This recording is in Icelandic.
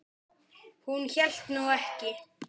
Hún hélt nú ekki.